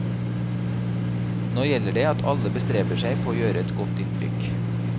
Nå gjelder det at alle bestreber seg på å gjøre et godt inntrykk.